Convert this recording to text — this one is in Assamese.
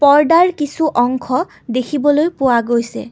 পৰ্দাৰ কিছু অংশ দেখিবলৈ পোৱা গৈছে।